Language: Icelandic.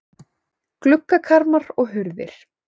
Gluggakarma og hurðir.